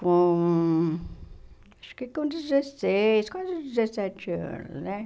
Com... Acho que com dezesseis, quase dezessete anos, né?